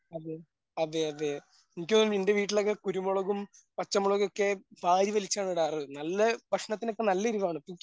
അതെ അതെ അതെ എനിക്ക് തോന്നുന്നു നിൻ്റെ വീട്ടിലൊക്കെ കുരുമുളകും പച്ചമുളകൊക്കെ വാരിവലിച്ചാണ് ഇടാറ് നല്ല ഭക്ഷണത്തിനൊക്കെ നല്ല എരിവാണ്.